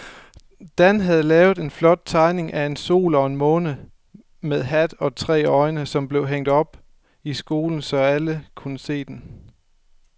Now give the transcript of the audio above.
Dan havde lavet en flot tegning af en sol og en måne med hat og tre øjne, som blev hængt op i skolen, så alle kunne se den.